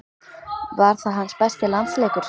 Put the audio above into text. Var það hans besti landsleikur?